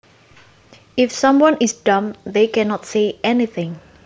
If someone is dumb they can not say anything